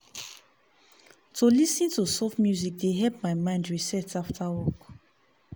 to lis ten to soft music dey help my mind reset after work.